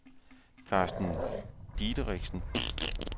Carsten Dideriksen